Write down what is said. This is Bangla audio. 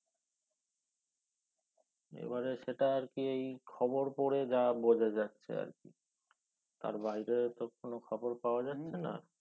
এবারে সেটা আর কি খবর পরে যা বোঝা যাচ্ছে আর কি তার বহিরে তো কোন খবর পাওয়া যাচ্ছে না